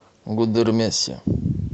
гудермесе